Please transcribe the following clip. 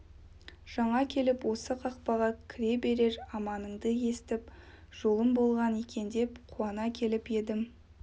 жаңа келіп осы қақпаға кіре бере аманыңды естіп жолым болған екен деп қуана келіп едім